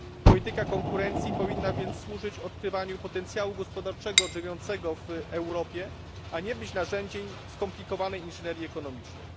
Polityka konkurencji powinna więc służyć odkrywaniu potencjału gospodarczego drzemiącego w Europie, a nie być narzędziem skomplikowanej inżynierii ekonomicznej.